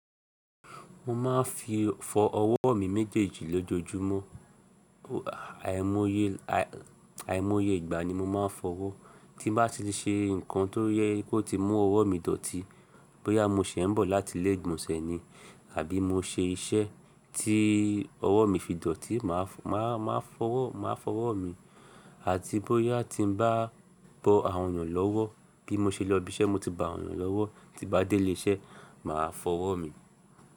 Mo máa ń fi fọ ọwọ́ mi méjèèjì lójúojúmọ́, àìmọ́ye ìgbà ni mo máa ń fọwọ́. Tí bá ti ṣe nǹkan tó ye kó ti mú ọwọ́ mi dọ̀tí, bóyà mo ṣẹ ń bọ̀ láti ilé ìgbònsẹ̀ ni, àbí mo ṣe iṣẹ́ tí ọwọ́ mi fi dọ̀tí, màá fọwọ́ mi. Àti bóyà tí n bá bọ àwọn ènìyàn lọ́wọ́, bí mo ṣe lọ ibi iṣẹ́, mo ti bọ àwọn ènìyàn lọ́wọ́, ti bá dé ilé iṣẹ́, màá fọwọ́ mi.